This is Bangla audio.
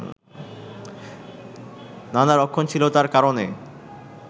নানা রক্ষণশীলতার কারণে